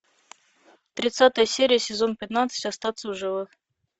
тридцатая серия сезон пятнадцать остаться в живых